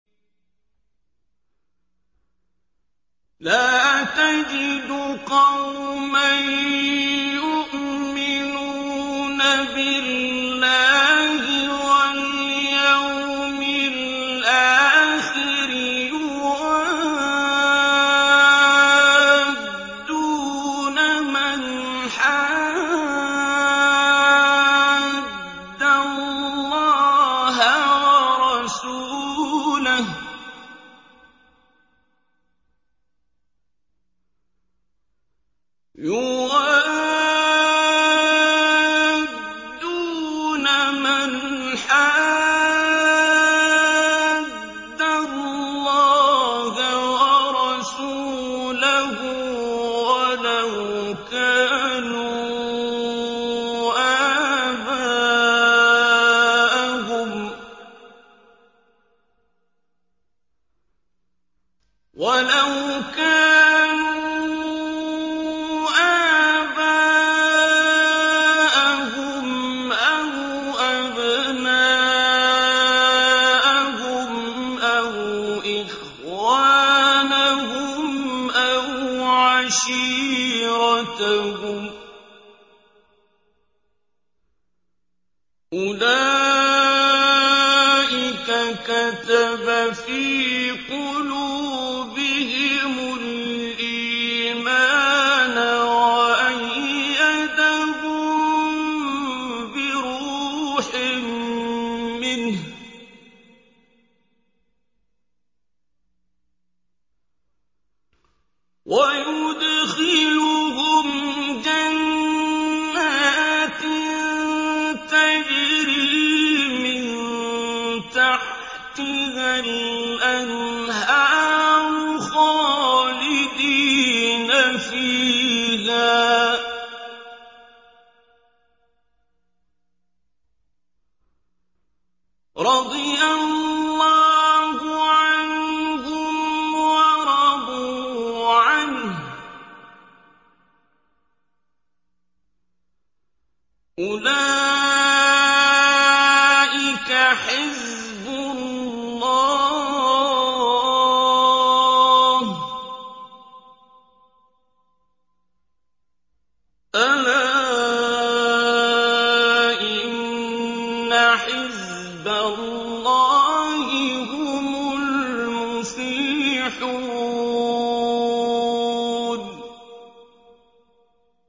لَّا تَجِدُ قَوْمًا يُؤْمِنُونَ بِاللَّهِ وَالْيَوْمِ الْآخِرِ يُوَادُّونَ مَنْ حَادَّ اللَّهَ وَرَسُولَهُ وَلَوْ كَانُوا آبَاءَهُمْ أَوْ أَبْنَاءَهُمْ أَوْ إِخْوَانَهُمْ أَوْ عَشِيرَتَهُمْ ۚ أُولَٰئِكَ كَتَبَ فِي قُلُوبِهِمُ الْإِيمَانَ وَأَيَّدَهُم بِرُوحٍ مِّنْهُ ۖ وَيُدْخِلُهُمْ جَنَّاتٍ تَجْرِي مِن تَحْتِهَا الْأَنْهَارُ خَالِدِينَ فِيهَا ۚ رَضِيَ اللَّهُ عَنْهُمْ وَرَضُوا عَنْهُ ۚ أُولَٰئِكَ حِزْبُ اللَّهِ ۚ أَلَا إِنَّ حِزْبَ اللَّهِ هُمُ الْمُفْلِحُونَ